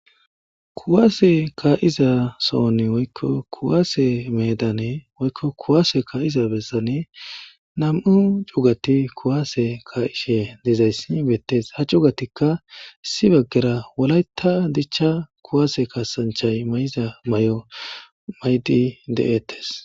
Kuwase kaa'iza sohon woykko kuwase meedan woykko kuwase kaa'iza bessan nam'u cugati kuwase ka'ishe dizayssi beettees ha cugati issi baggara wolayta dicha kuwase kasanchchay mayiza mayo mayidi de'etes.